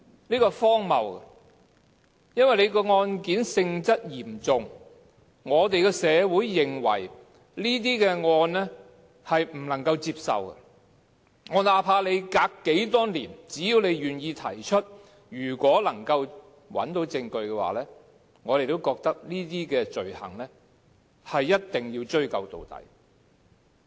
這是荒謬的，因為案件性質嚴重，社會認為這些案件不能夠接受，那怕相隔多少年，只要願意提出，如果能夠找到證據，我們也覺得這些罪行一定要追究到底。